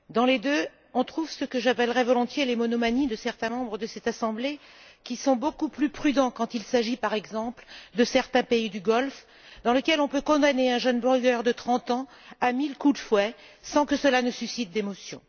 Dans les deux, on trouve ce que j'appellerais volontiers les monomanies de certains membres de cette Assemblée, qui sont beaucoup plus prudents quand il s'agit, par exemple, de certains pays du Golfe dans lesquels on peut condamner un jeune blogueur de trente ans à mille coups de fouet sans que cela ne suscite d'émotion.